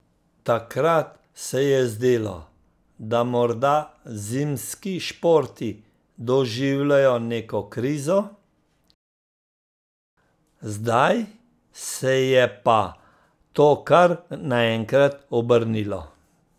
Takrat se je zdelo, da morda zimski športi doživljajo neko krizo, zdaj se je pa to kar naenkrat obrnilo.